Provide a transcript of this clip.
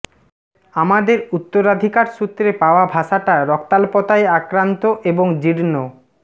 আমাদের উত্তরাধিকার সূত্রে পাওয়া ভাষাটা রক্তাল্পতায় আক্রান্ত এবং জীর্ণ